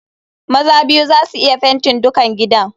Maza biyu za su iya fenti dukan gidan.